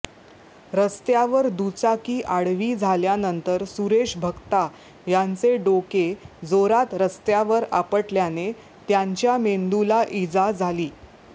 रस्त्यावर दुचाकी आडवी झाल्यानंतर सुरेश भक्ता यांचे डोके जोरात रस्त्यावर आपटल्याने त्यांच्या मेंदूला इजा झाली